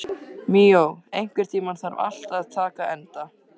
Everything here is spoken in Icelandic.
Míó, einhvern tímann þarf allt að taka enda.